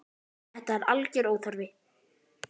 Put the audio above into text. Þetta er algjör óþarfi.